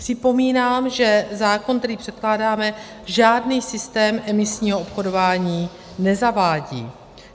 Připomínám, že zákon, který předkládáme, žádný systém emisního obchodování nezavádí.